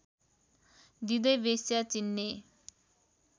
दिँदै वेश्या चिन्ने